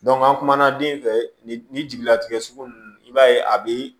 an kumana den fɛ ni jigilatigɛ sugu nunnu i b'a ye a bi